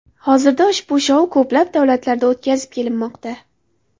Hozirda ushbu shou ko‘plab davlatlarda o‘tkazib kelinmoqda.